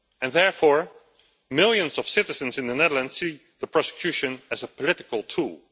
Therefore, millions of citizens in the Netherlands see prosecution as a political tool.